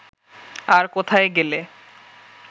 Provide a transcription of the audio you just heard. আর কোথায় গেলে